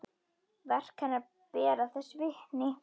Verk hennar bera þess vitni.